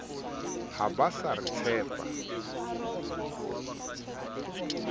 ha ba sa re tshepa